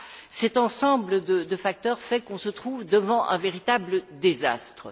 tout cet ensemble de facteurs fait que l'on se trouve devant un véritable désastre.